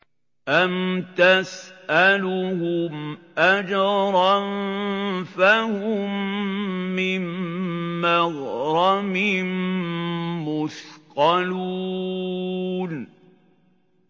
أَمْ تَسْأَلُهُمْ أَجْرًا فَهُم مِّن مَّغْرَمٍ مُّثْقَلُونَ